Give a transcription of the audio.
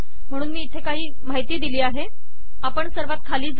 म्हणून मी इथे काही माहिती दिली आहे आपण सर्वात खाली जाऊ